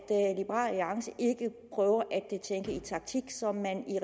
liberal alliance ikke prøver at tænke i taktik så man i